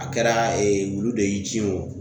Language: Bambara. A kɛra wulu de y'i ci wo